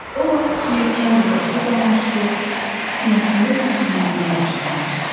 O vaxt ki, kənd uzaqda qalmışdı, sinəsində bir zümzümə başlanmışdı.